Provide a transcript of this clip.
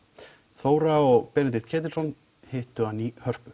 Þóra Arnórsdóttir og Benedikt Ketilsson hittu hann í Hörpu